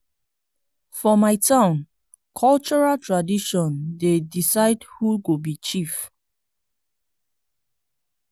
for my town cultural tradition dey decide who go be chief.